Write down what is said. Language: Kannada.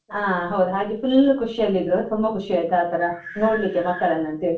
ಹಾ ಹೌದು, ಹಾಗೆ full ಖುಷಿಯಲ್ಲಿದ್ರು, ತುಂಬ ಖುಷಿಯಾಯ್ತು ಆತರ ನೋಡ್ಲಿಕ್ಕೆ ಮಕ್ಕಳನ್ನ ಅಂತ ಹೇಳಿ.